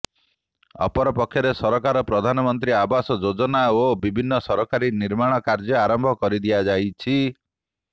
ଅପରପକ୍ଷରେ ସରକାର ପ୍ରଧାନମନ୍ତ୍ରୀ ଆବାସ ଯୋଜନା ଓ ବିଭିନ୍ନ ସରକାରୀ ନିର୍ମାଣ କାର୍ଯ୍ୟ ଆରମ୍ଭ କରିଦିଆ ଯାଇଛି